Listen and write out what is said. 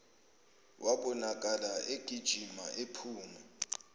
wabonakala egijima ephuma